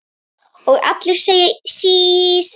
Og allir að segja sís!